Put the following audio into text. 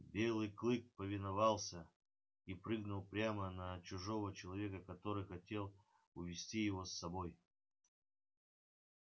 белый клык повиновался и прыгнул прямо на чужого человека который хотел увести его с собой